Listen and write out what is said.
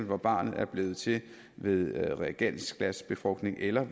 når barnet bliver til ved reagensglasbefrugtning eller